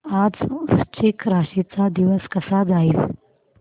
आज वृश्चिक राशी चा दिवस कसा जाईल